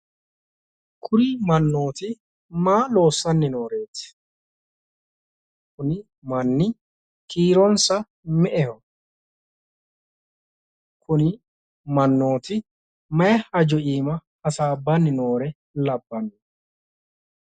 kuri mannooti maa loossanni nooreeti? kuni manni kiironsa me'eho? kuri mannoti mayi haja iima hasaabbanni noore labba'none.